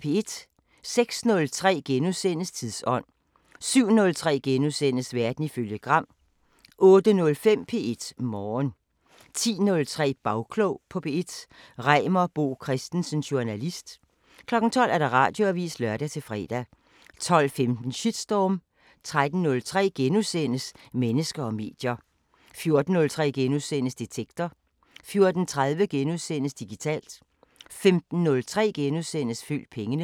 06:03: Tidsånd * 07:03: Verden ifølge Gram * 08:05: P1 Morgen 10:03: Bagklog på P1: Reimer Bo Christensen, journalist 12:00: Radioavisen (lør-fre) 12:15: Shitstorm 13:03: Mennesker og medier * 14:03: Detektor * 14:30: Digitalt * 15:03: Følg pengene *